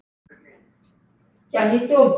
Ég held ekki, takk.